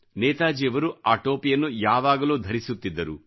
ನೇತಾಜಿಯವರು ಆ ಟೋಪಿಯನ್ನು ಯಾವಾಗಲೂ ಧರಿಸುತ್ತಿದ್ದರು